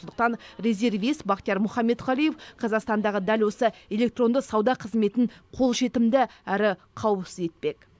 сондықтан резервист бахтияр мұхаметқалиев қазақстандағы дәл осы электронды сауда қызметін қолжетімді әрі қауіпсіз етпек